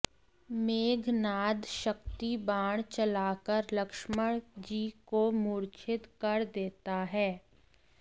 मेघनाद शक्तिबाण चलाकर लक्ष्मण जी को मूर्छित कर देता है